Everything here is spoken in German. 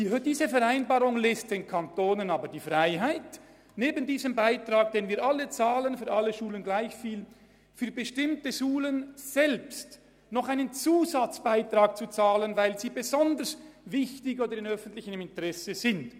Diese Vereinbarung lässt den Kantonen jedoch die Freiheit, neben dem Beitrag, den wir für alle Schulen in gleicher Höhe entrichten, für bestimmte Schulen selbst einen Zusatzbeitrag zu zahlen, weil sie besonders wichtig oder von öffentlichem Interesse sind.